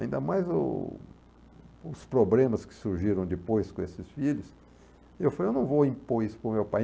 ainda mais o os problemas que surgiram depois com esses filhos, eu falei, eu não vou impor isso para o meu pai.